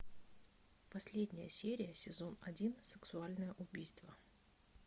последняя серия сезон один сексуальное убийство